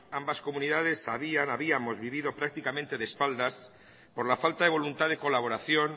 ambas comunidades habíamos vivido prácticamente de espaldas por la falta de voluntad de colaboración